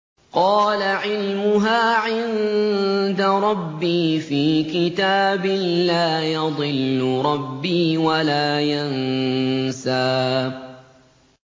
قَالَ عِلْمُهَا عِندَ رَبِّي فِي كِتَابٍ ۖ لَّا يَضِلُّ رَبِّي وَلَا يَنسَى